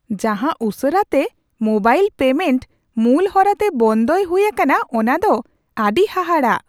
ᱡᱟᱦᱟᱸ ᱩᱥᱟᱹᱨᱟᱛᱮ mobile payment ᱢᱩᱞ ᱦᱚᱨᱟᱛᱮ ᱵᱚᱱᱚᱫᱚᱭ ᱦᱩᱭ ᱟᱠᱟᱱᱟ ᱚᱱᱟ ᱫᱚ ᱟᱹᱰᱤ ᱦᱟᱦᱟᱲᱟᱜ ᱾